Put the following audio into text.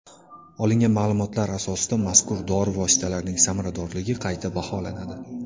Olingan ma’lumotlar asosida mazkur dori vositalarining samaradorligi qayta baholanadi.